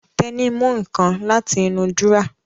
Tẹ́ní mú nǹkan láti inú dúrọ́à